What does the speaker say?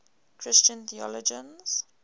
christian theologians